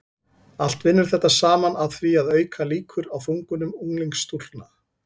allt vinnur þetta saman að því að auka líkur á þungunum unglingsstúlkna